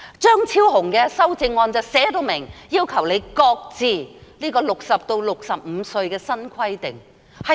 張超雄議員的修正案便述明，要求她擱置由60歲提高至65歲的新規定。